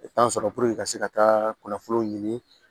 sɔrɔ ka se ka taa kunnafoniw ɲini